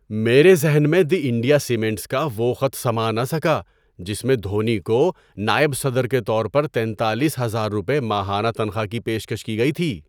میرے ذہن میں "دی انڈیا سیمنٹس" کا وہ خط سما نہ سکا جس میں دھونی کو نائب صدر کے طور پر تینتالیس ہزار روپے ماہانہ تنخواہ کی پیشکش کی گئی تھی۔